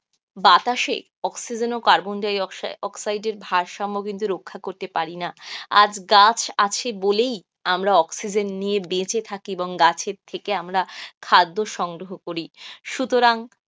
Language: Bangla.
বাতাসে অক্সিজেন ও কার্বন ডাই- অক্সাইডের ভারসাম্য কিন্তু রক্ষা করতে পারিনা, আজ গাছ আছে বলেই আমরা অক্সিজেন নিয়ে বেঁচে থাকি এবং গাছের থেকে আমরা খাদ্য সংগ্রহ করি.